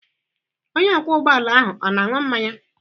Onye ọkwọ ụgbọ ala ọ na-aṅụ mmanya?